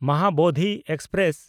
Mahabodhi express